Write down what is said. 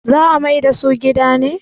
za a maida su gida ne?